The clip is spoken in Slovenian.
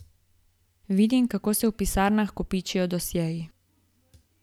Vidim, kako se v pisarnah kopičijo dosjeji.